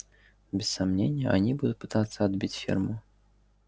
без сомнения они будут пытаться отбить ферму